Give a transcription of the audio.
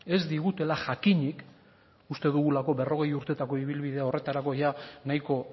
ez digutela jakinik uste dugulako berrogei urtetako ibilbidea horretarako ia nahiko